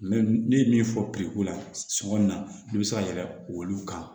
ne ye min fɔ la suman in na i bɛ se ka yɛlɛn olu kan